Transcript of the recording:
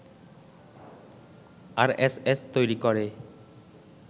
RSS তৈরি করে